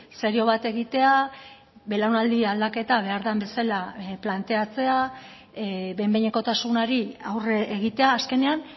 serio bat egitea belaunaldi aldaketa behar den bezala planteatzea behin behinekotasunari aurre egitea azkenean